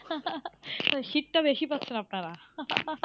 তো শীতটা বেশি পাচ্ছেন আপনারা।